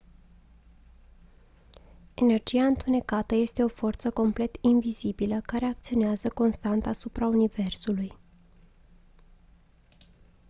energia întunecată este o forță complet invizibilă care acționează constant asupra universului